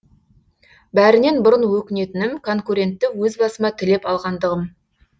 бәрінен бұрын өкінетінім конкурентті өз басыма тілеп алғандығым